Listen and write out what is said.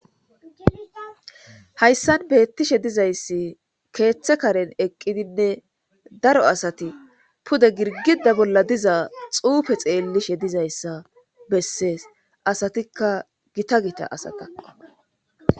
Hayssan beettishe dizayssi keeththe karen eqqidinne daro asati pude girgida bolla diza xuufe xeellishe dizayssa bessees asatikka gita gita asa kaqqa.